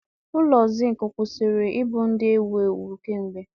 Ụlọ Zinc kwụsịrị ịbụ ndị ewu ewu kemgbe